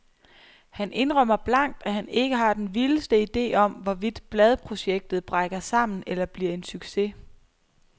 Han indrømmer blankt, at han ikke har den vildeste ide om, hvorvidt bladprojektet brækker sammen eller bliver en succes.